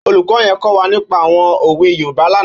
Ólúkò yèn kò wá nípà áwòn ówé Yórùbá làná